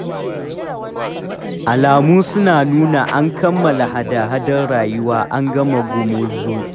Alamu suna nuna an kammala hada-hadar rayuwa, an gama gumurzu.